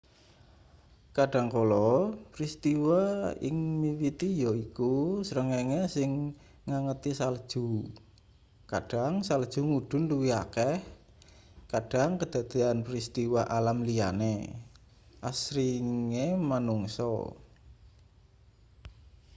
kadhangkala pristiwa sing miwiti yaiku srengenge sing ngangeti salju kadhang salju mudhun luwih akeh kadhang kedadeyan pristiwa alam liyane asringe manungsa